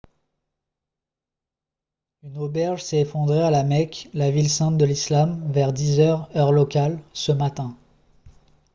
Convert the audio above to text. une auberge s'est effondrée à la mecque la ville sainte de l'islam vers 10 heures heure locale ce matin